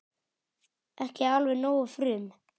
Ekki alveg nógu frum